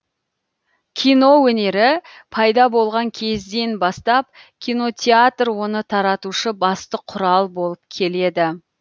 кино өнері пайда болған кезден бастап кинотеатр оны таратушы басты құрал болып келеді